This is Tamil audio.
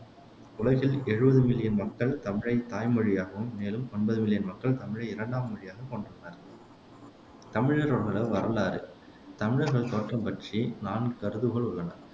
உலகில் எழுவது மில்லியன் மக்கள் தமிழைத் தாய் மொழியாகவும் மேலும் ஒன்பது மில்லியன் மக்கள் தமிழை இரண்டாம் மொழியாக கொண்டுள்ளனர் தமிழர்களோடைய வரலாறு தமிழர்கள் தோற்றம் பற்றி நான்கு கருதுகோள் உள்ளன